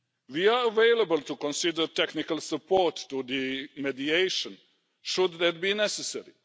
We are available to consider technical support to the mediation, should that be necessary.